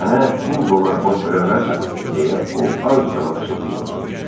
Mənə 1000 dollar borc verə bilərsənmi, deyə o az qala pıçılıtı ilə soruşdu.